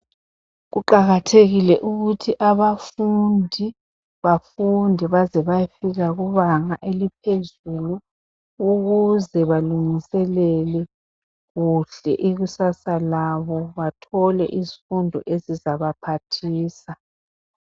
Kuqakathekile ukuthi abafundi bafunde baze bafike kubanga eliphezulu ukuze balungiselele ikusasa labo bathole izifundo ezizabaphathisa.